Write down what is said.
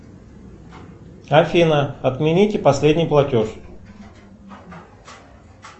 афина отмените последний платеж